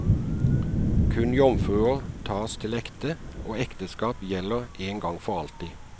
Kun jomfruer tas til ekte og ekteskap gjelder en gang for alltid.